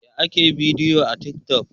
Yaya ake yin bidiyo a tik toc?